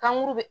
Kanguru be